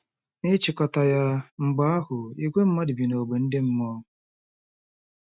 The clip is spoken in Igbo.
N'ịchịkọta ya, mgbe ahụ, ìgwè mmadụ bi n'ógbè ndị mmụọ.